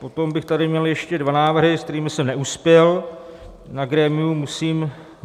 Potom bych tady měl ještě dva návrhy, s kterými jsem neuspěl na grémiu.